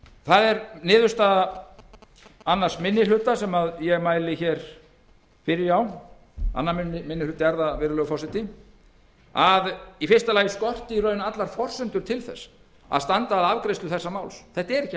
það er niðurstaða í áliti annar minni hluta sem ég mæli hér fyrir að í fyrsta lagi skorti allar forsendur til þess að standa að afgreiðslu þessa máls þetta er ekki